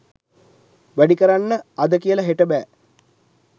වැඩි කරන්න අද කියලා හෙට බෑ.